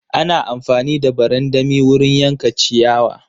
Ana amfani da barandami wurin yanka ciyawa.